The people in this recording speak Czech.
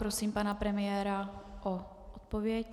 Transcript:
Prosím pana premiéra o odpověď.